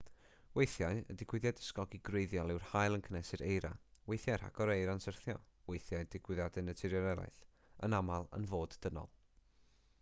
weithiau y digwyddiad ysgogi gwreiddiol yw'r haul yn cynhesu'r eira weithiau rhagor o eira'n syrthio weithiau digwyddiadau naturiol eraill yn aml yn fod dynol